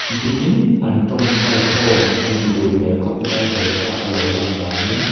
dingin an tawngtai khawm anih duh hmel khawp maia he thlalaka lo lan danin.